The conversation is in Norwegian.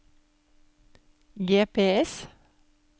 GPS